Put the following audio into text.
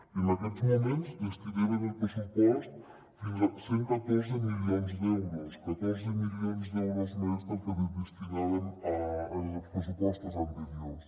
i en aquests moments hi destinem en el pressupost fins a cent i catorze milions d’euros catorze milions d’euros més del que hi destinàvem en els pressupostos anteriors